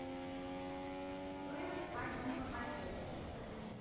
стоимость свадебного пакета